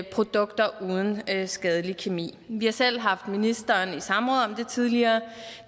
produkter uden skadelig kemi vi har selv haft ministeren i samråd om det tidligere